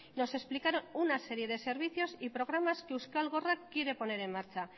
nos explicaron una serie de servicios y programas que euskal gorrak quiere poner en marcha